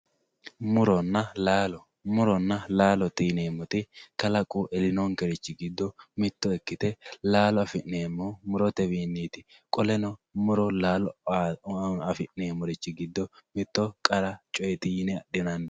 Muronna laallo, muronna laallote yineemoti kalaqu elinokerichi gido mito ikkite laallo afineemohu murotewiniti qoleno muro laallo afi'neemorichi gido mito qara cooyyeti yine adhinani